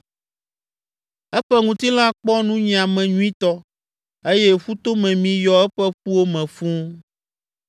eƒe ŋutilã kpɔ nunyiame nyuitɔ eye ƒutomemi yɔ eƒe ƒuwo me fũu.